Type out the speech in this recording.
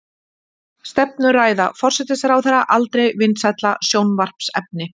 Stefnuræða forsætisráðherra aldrei vinsælla sjónvarpsefni